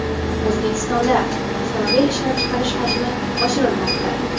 O‘zbekistonda avtomobil ishlab chiqarish hajmi oshirilmoqda.